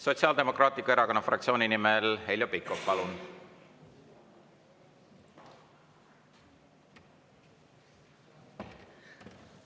Sotsiaaldemokraatliku Erakonna fraktsiooni nimel Heljo Pikhof, palun!